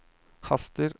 haster